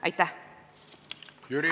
Aitäh!